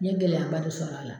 N ye gɛlɛya ba de sɔrɔ a la